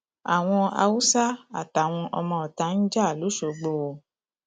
àwọn haúsá àtàwọn ọmọọta ń jà lọṣọgbó o